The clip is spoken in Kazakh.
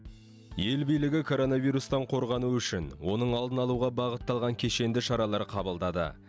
ел билігі коронавирустан қорғану үшін оның алдын алуға бағытталған кешенді шаралар қабылдады